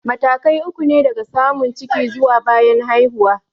Matakai uku ne daga samun ciki zuwa bayan haihuwa.